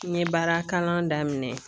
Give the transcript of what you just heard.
N ye baarakalan daminɛ